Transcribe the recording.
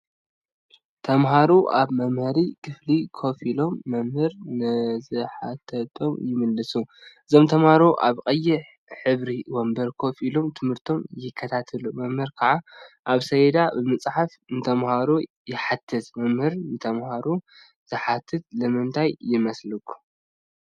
ተምሃሮ አብ መምሃሪ ክፍሊ ኮፍ ኢሎም መምህር ንዝሓተቶም ይምልሱ፡፡ እዞም ተምሃሮ አብ ቀይሕ ሕብሪ ወንበር ኮፍ ኢሎም ትምህርቶም ይከታተሉ፡፡ መምህር ከዓ አብ ሰሌዳ ብምፅሓፍ ንተምሃሮ ይሓትት፡፡ መምህር ንተምሃርኡ ዝሓትት ንምንታይ ይመስለኩም?